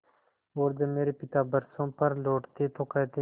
और जब मेरे पिता बरसों पर लौटते तो कहते